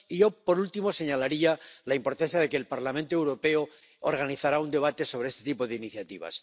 Y yo, por último, señalaría la importancia de que el Parlamento Europeo organizará un debate sobre este tipo de iniciativas.